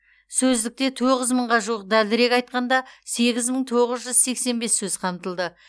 сөздікте тоғыз мыңға жуық дәлірек айтқанда сегіз мың тоғыз жүз сексен бес сөз қамтылды